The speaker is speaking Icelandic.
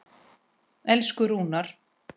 Elsku Rúnar.